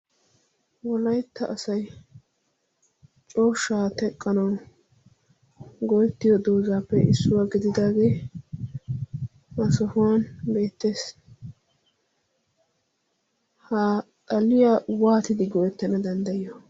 walaytta asay cooshshaa teqqanau go'ettiyo doozaappe issuwaa gididaagee maasofuwan beettees. ha xaliya waatidi goettana danddayiyo?